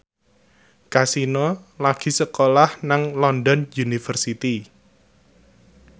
Kasino lagi sekolah nang London University